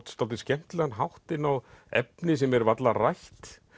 dálítið skemmtilegan hátt inn á efni sem er varla rætt